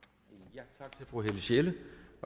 det fru helle sjelle